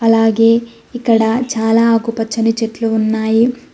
అలాగే ఇక్కడ చాలా ఆకుపచ్చని చెట్లు ఉన్నాయి.